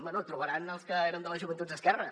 bé trobaran els que érem de les joventuts d’esquerra